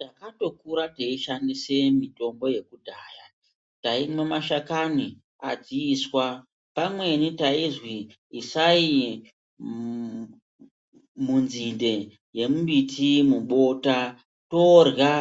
Takatokura teishandisa mutombo yekudhaya taimwa mashakani adziiswa pamweni taizwi isai mumunzinde yembuti mubota torla